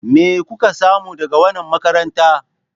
Me kuka samu daga wannan makaranta?